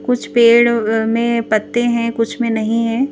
कुछ पेड़ में पत्ते हैं कुछ में नहीं है।